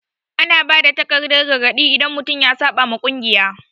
Ana ba da takardan gargadi idan mutum ya saɓa wa kungiya.